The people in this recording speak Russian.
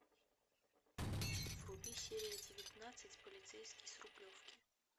вруби серия девятнадцать полицейский с рублевки